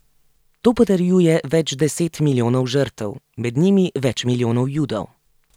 To potrjuje več deset milijonov žrtev, med njimi več milijonov Judov.